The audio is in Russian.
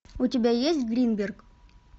у тебя есть гринберг